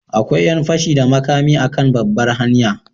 Akwai yan fashi da makami a kan babbar hanya.